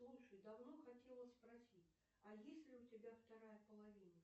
слушай давно хотела спросить а есть ли у тебя вторая половина